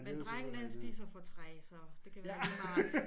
Men drengen han spiser for 3 så det kan være ligemeget